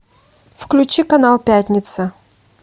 включи канал пятница